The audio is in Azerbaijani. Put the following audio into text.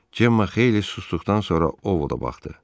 Cemma xeyli susduqdan sonra Ovoda baxdı.